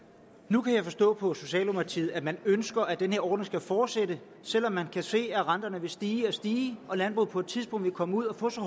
nu kan jeg forstå på socialdemokratiet at man ønsker at den her ordning skal fortsætte selv om man kan se at renterne vil stige og stige og at landbruget på et tidspunkt vil komme ud og få så